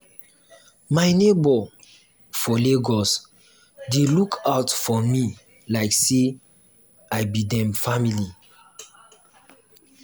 my neighbor for lagos dey look out for me like say i be dem family.